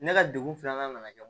Ne ka degun filanan nana kɛ